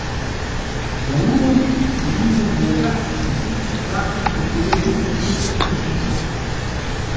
Na uro se mimo njega, viseč na traku, pripelje tisoč petsto prašičev.